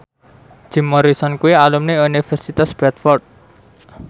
Jim Morrison kuwi alumni Universitas Bradford